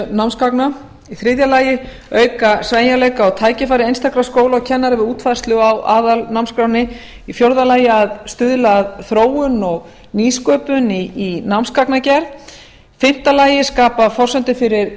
námsgagna í þriðja lagi að auka sveigjanleika og tækifæri einstakra skóla og kennara við útfærslu á aðalnámskránni í fjórða lagi að stuðla að þróun og nýsköpun í námsgagnagerð í fimmta lagi að skapa forsendur fyrir